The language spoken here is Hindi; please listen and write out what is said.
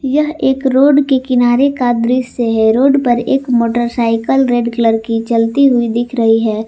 यह एक रोड के किनारे का दृश्य है रोड पर एक मोटरसाइकिल रेड कलर की चलती हुई दिख रही है।